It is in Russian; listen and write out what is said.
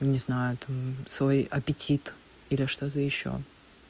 не знают там свой аппетит или что-то ещё